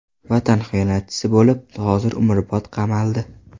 Vatan xiyonatchisi bo‘lib, hozir umrbod qamaldi.